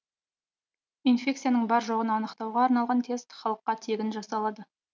инфекцияның бар жоғын анықтауға арналған тест халыққа тегін жасалады